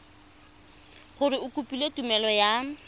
gore o kopile tumelelo ya